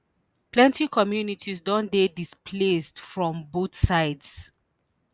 plenty communities don dey displaced from both sides